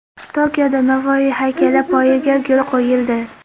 Tokioda Navoiy haykali poyiga gul qo‘yildi.